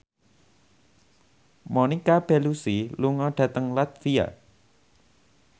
Monica Belluci lunga dhateng latvia